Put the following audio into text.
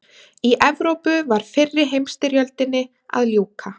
Í Evrópu var fyrri heimsstyrjöldinni að ljúka.